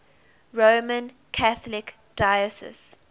roman catholic diocese